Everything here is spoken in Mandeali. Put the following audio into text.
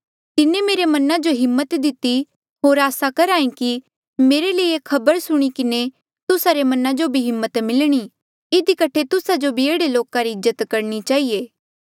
तिन्हें मेरे मना जो हिम्मत दिति होर आसा करहा कि मेरे ले ये खबर सुणी किन्हें तुस्सा रे मना जो भी हिम्मत मिलणी इधी कठे तुस्सा जो भी एह्ड़े लोका री इज्जत करणी चहिए